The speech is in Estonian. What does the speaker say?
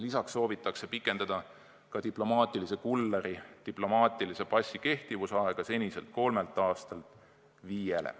Lisaks soovitakse pikendada ka diplomaatilise kulleri diplomaatilise passi kehtivusaega seniselt kolmelt aastalt viiele.